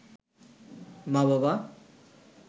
মা-বাবা